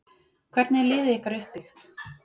Hvernig er liðið ykkar uppbyggt?